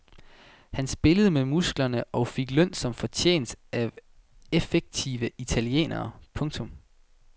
Han spillede med musklerne og fik løn som fortjent af effektive italienere. punktum